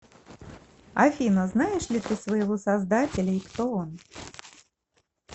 афина знаешь ли ты своего создателя и кто он